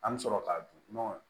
An bɛ sɔrɔ k'a dun